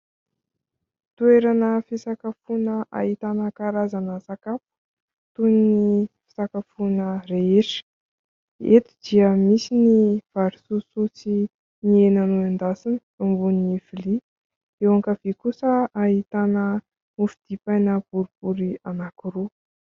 Toerana fisakafoana ahitana karazana sakafo toy ny fisakafoana rehetra. Eto dia misy ny vary sosoa sy ny hena nendasina eo ambonin'ny vilia. Eo ankavia kosa ahitana mofo dipaina boribory anankiroa.